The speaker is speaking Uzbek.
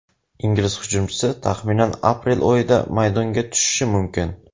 Ingliz hujumchisi taxminan aprel oyida maydonga tushishi mumkin.